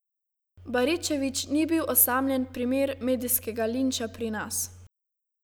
Baričevič ni bil osamljen primer medijskega linča pri nas.